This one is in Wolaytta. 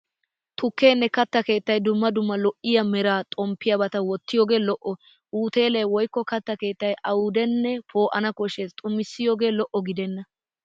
Tukkenne katta keettay dumma dumma lo'iya meraa xomphphiyabata wottiyogee lo'o. Uteele woykko katta keettay awudee poo'ana koshshes xumissiyogee lo'o gidennan.